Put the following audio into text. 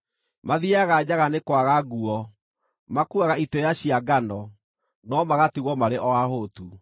Mathiiaga njaga nĩ kwaga nguo; makuuaga itĩĩa cia ngano, no magatigwo marĩ o ahũtu.